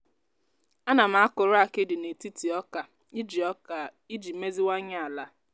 ana m akụrụ akidi n’etiti oka iji oka iji meziwanye ala.